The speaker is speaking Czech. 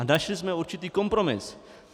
A našli jsme určitý kompromis.